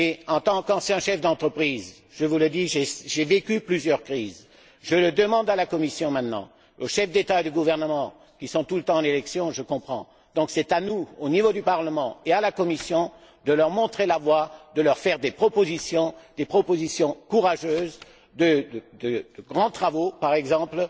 En tant qu'ancien chef d'entreprise, je vous le dis, j'ai vécu plusieurs crises, je demande à la Commission et aux chefs d'État et de gouvernement, qui sont tout le temps en période électorale je comprends et c'est donc à nous, au niveau du Parlement, à la Commission, de leur montrer la voie, de leur faire des propositions et des propositions courageuses de grands travaux, par exemple